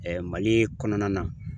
Mali kɔnɔna na.